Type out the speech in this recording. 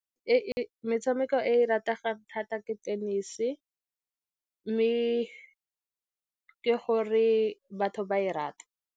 Metshameko e e rategang thata ke tenese, mme ke gore batho ba e rata.